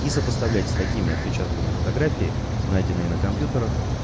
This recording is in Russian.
и сопоставлять с такими отпечатками фотографии найденные на компьютерах